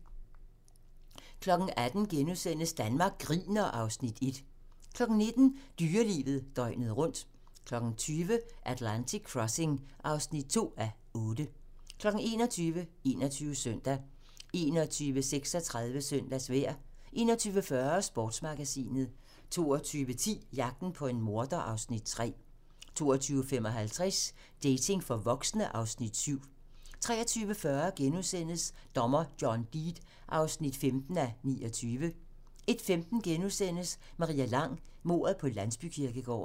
18:00: Danmark griner (Afs. 1)* 19:00: Dyrelivet døgnet rundt 20:00: Atlantic Crossing (2:8) 21:00: 21 Søndag 21:36: Søndagsvejr 21:40: Sportsmagasinet 22:10: Jagten på en morder (Afs. 3) 22:55: Dating for voksne (Afs. 7) 23:40: Dommer John Deed (15:29)* 01:15: Maria Lang: Mordet på landsbykirkegården *